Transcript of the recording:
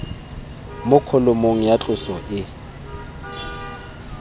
mo kholomong ya tloso e